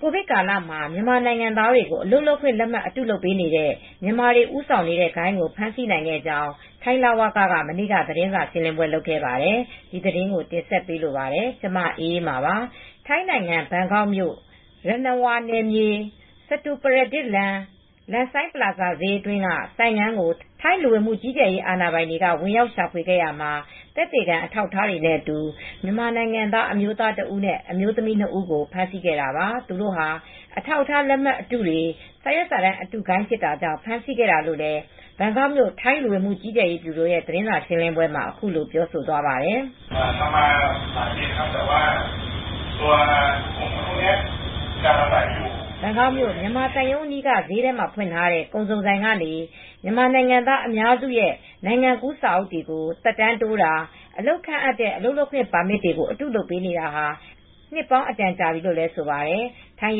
ကိုဗစ်ကာလ မြန်မာနိုင်ငံသားများကို အလုပ်လုပ်ခွင့်လက်မှတ်တုလုပ်ပေးနေတဲ့ မြန်မာတွေဦးဆောင်နေတဲ့ ဂိုဏ်းကိုဖမ်းဆီးနိုင်ခဲ့ကြောင်း ထိုင်းလဝက က မနေ့က သတင်းစာရှင်းလင်းခဲ့ပါတယ်။ ဒီသတင်းကို မအေးအေးမာ တင်ဆက်ပေးမှာပါ။ ထိုင်းနိုင်ငံ၊ ဘန်ကောက်မြို့၊ Yannawa နယ်မြေ၊ Sathupradit လမ်း Lansai Plaza ဈေးအတွင်းက ဆိုင်ခန်းကိုထိုင်း လူဝင်မူကြီးကြပ်ရေးအာဏာပိုင်တွေက ဝင်ရောက် ရှာဖွေခဲ့ရာမှာ သက်သေခံ အထောက်အထားတွေနဲ့အတူ မြန်မာနိုင်ငံသားအမျိုးသားတစ်ဦး နဲ့ အမျိုးသမီးနှစ်ဦးကိုဖမ်းဆီးခဲ့တာပါ။ သူတို့ဟာ အထောက်အထားလက်မှတ်အတု ၊ စာရွက်စာတမ်းအတုဂိုဏ်းဖြစ်တာကြောင့် ဖမ်းဆီးခဲ့တာလို့ ဘန်ကောက်မြို့ ထိုင်းလူဝင်မူကြီးကြပ်ရေးဗျူရို သတင်းစာရှင်းလင်းပွဲမှာ အခုလိုပြောဆိုသွားပါတယ်။ “ဘန်ကောက် မြန်မာသံရုံးအနီးက ဈေးထဲမှာဖွင့်ထားတဲ့ ကုန်စုံဆိုင်ကနေ မြန်မာနိုင်ငံသား အများစုရဲ့ နိုင်ငံကူးစာအုပ်တွေကိုသက်တမ်းတိုးတာ အလုပ်ခန့်အပ်တဲ့ အလုပ်လုပ်ခွင့်ပါမစ် တွေ ကို အတုလုပ်ပေးနေတာ၊နှစ်ပေါင်းအတန်ကြာနေပြီလို့ဆိုပါတယ်။ထိုင်း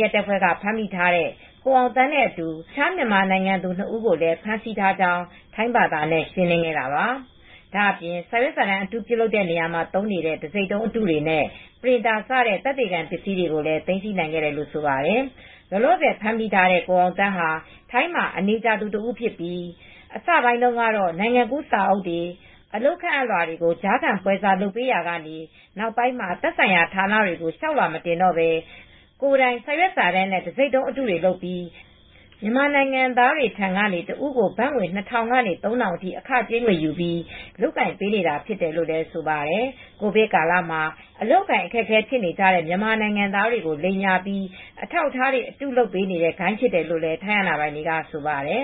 ရဲတပ်ဖွဲ့က ဖမ်းမိထားတဲ့ ကိုအောင်သန်းနဲ့အတူ တခြား မြန်မာနိုင်ငံသူနှစ်ဦးကိုလည်း ဖမ်းဆီးထားကြောင်း ထိုင်းဘာသာနဲ့ ရှင်းလင်းခဲ့တာပါ။” ဒါအပြင် စာရွက်စာတန်းအတုပြုလုပ်ရာမှာ သုံးနေတဲ့ တဆိပ်တုံးအတု တွေနဲ့ printer တဲ့ သက်သေခံပစ္စည်းတွေကိုလည်း သိမ်းဆီးနိုင်ခဲ့တယ်လို့ ဆိုပါတယ်။ လောလောဆယ်ဖမ်းမိထားတဲ့ ကိုအောင်သန်းဟာ ထိုင်းမှာ အနေကြာနေသူ တစ်ဦးဖြစ်ပြီး အစပိုင်းတုန်းကတော့ နိုင်ငံကူးစာအုပ် အလုပ်ခန့်လွာတွေကို ကြားခံပွဲစား လုပ်ပေးနေရာကနေ နောက်ပိုင်းမှာ သက်ဆိုင်ရာ ဌာနတွေကို လျောက်လွှာမတင်တော့ပဲ ကိုယ်တိုင် စ ာရွက်စာတမ်းနဲ့ တဆိပ်တုံးအတုတွေ လုပ်ပြီး မြန်မာနိုင်ငံသား တစ်ဦးကို ဘတ်ငွေ ၂၀၀၀ ကနေ ၃၀၀၀ အထိအခကြေးငွေယူပြီး လုပ်ကိုင်ပေးနေတာ ဖြစ်တယ်လို့ ဆိုပါတယ်။ ကိုဗစ်ကာလမှာ အလုပ်အကိုင်အခက်အခဲ ဖြစ်နေကြတဲ့မြန်မာနိုင်ငံသားတွေကို လိမ်ညာပြီး အထောက်အထားတွေ အတုလုပ်တဲ့ဂိုဏ်းဖြစ်တယ်လို့လည်း ထိုင်းအာဏာပိုင်တွေက ဆိုပါတယ်